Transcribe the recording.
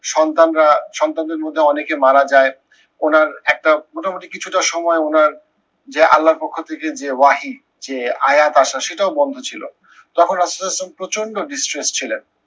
সন্তানরা, সন্তানদের মধ্যে অনেকে মারা যায়। ওনার একটা মোটমুটি কিছুটা সময় ওনার যে আল্লার পক্ষ থেকে যে ওয়াহী যে আয়া সেটাও বন্ধ ছিল। তখন প্রচন্ড distressed ছিলেন।